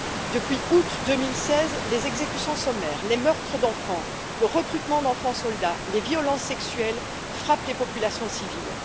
Depuis août 2016, les exécutions sommaires, les meurtres d'enfants, le recrutement d'enfants soldats, les violences sexuelles frappent les populations civiles.